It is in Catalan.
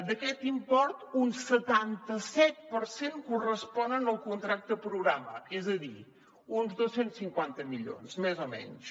d’aquest import un setanta set per cent correspon al contracte programa és a dir uns dos cents i cinquanta milions més o menys